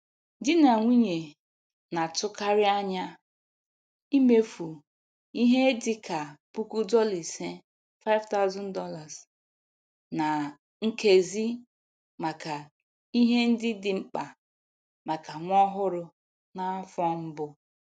Di na nwunye na-atụkarị anya imefu ihe dị ka puku dollar ise ($5,000) ná nkezi maka ihe ndị dị mkpa maka nwa ọhụrụ n'afọ mbụ.